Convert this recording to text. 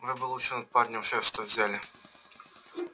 вы бы лучше над парнем шефство взяли